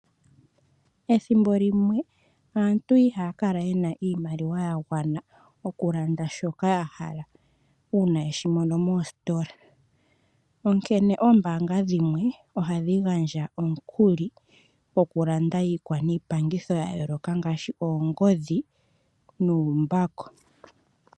Ethimbo limwe aantu ihaya kala yena iimaliwa ya gwana oku landa shoka yahala uuna yeshi mono moositola, onkene oombaanga dhimwe ohadhi gandja omukuli goku landa iikwa niipangitho yayooloka ngaashi oongodhi nuumbako.